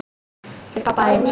Til pabba þíns.